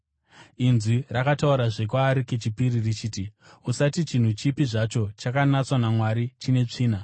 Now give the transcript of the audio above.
Inzwi rakataurazve kwaari kechipiri richiti, “Usati chinhu chipi zvacho chakanatswa naMwari chine tsvina.”